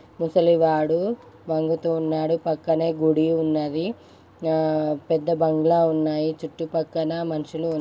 ముసలివాడు వంగుతూ ఉన్నాడు. పక్కనే గుడి ఉన్నది. పెద్ద బంగ్లా ఉన్నాయి. చుట్టుపక్కల మనుషులు ఉ--